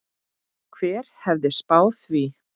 Hver hefði spáð því?